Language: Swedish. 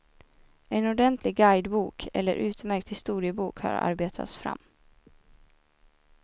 En ordentlig guidebok, eller utmärkt historiebok har arbetats fram.